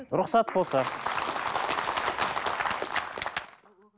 рұхсат болса